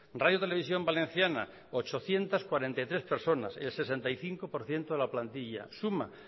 radio televisión valenciana ochocientos cuarenta y tres personas el sesenta y cinco por ciento de la plantilla suma